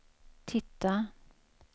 titta